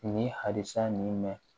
Ni halisa nin mɛn